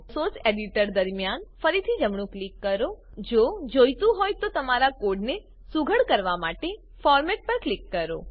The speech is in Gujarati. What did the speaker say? સોર્સ એડીટર દરમ્યાન ફરીથી જમણું ક્લિક કરો જો જોઈતું હોય તો તમારા કોડને સુઘડ કરવા માટે ફોર્મેટ પર ક્લિક કરો